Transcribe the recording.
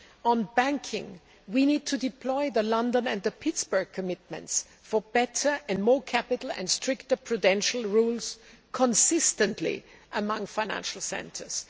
On banking, we need to deploy the London and Pittsburgh commitments for better and more capital and stricter prudential rules consistently among financial centres.